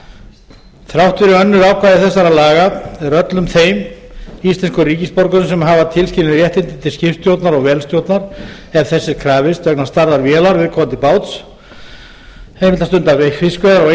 svo þrátt fyrir önnur ákvæði þessara laga er öllum þeim íslenskum ríkisborgurum sem hafa tilskilin réttindi til skipstjórnar og vélstjórnar ef þess er krafist vegna stærðar vélar viðkomandi báts að stunda fiskveiðar á